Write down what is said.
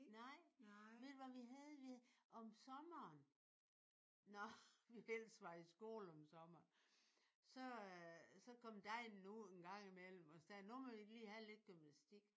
Nej. Ved du hvad vi havde? Vi havde om sommeren når vi ellers var i skole om sommeren så øh så kom degnen ud en gang i mellem og sagde nu må vi lige have lidt gymnastik